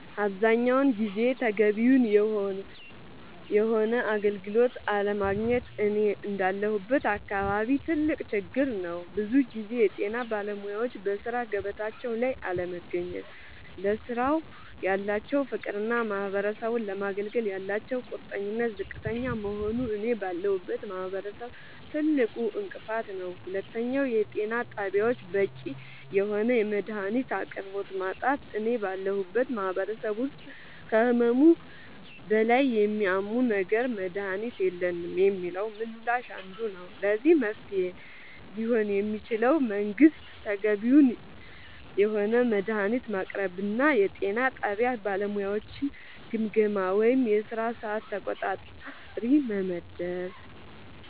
አብዛኛውን ጊዜ ተገቢውን የሆነ አገልግሎት አለማግኘት እኔ እንዳለሁበት አካባቢ ትልቅ ችግር ነዉ ብዙ ጊዜ የጤና ባለሙያወች በሥራ ገበታቸው ላይ አለመገኘት ለስራው ያላቸው ፍቅርና ማህበረሰቡን ለማገልገል ያላቸው ቁርጠኝነት ዝቅተኛ መሆኑ እኔ ባለሁበት ማህበረሰብ ትልቁ እንቅፋት ነዉ ሁለተኛው የጤና ጣቢያወች በቂ የሆነ የመድሃኒት አቅርቦት ማጣት እኔ ባለሁበት ማህበረሰብ ውስጥ ከህመሙ በላይ የሚያመው ነገር መድሃኒት የለንም የሚለው ምላሽ አንዱ ነዉ ለዚህ መፍትሄ ሊሆን የሚችለው መንግስት ተገቢውን የሆነ መድሃኒት ማቅረብና የጤና ጣቢያ ባለሙያወችን ግምገማ ወይም የስራ ሰዓት ተቆጣጣሪ መመደብ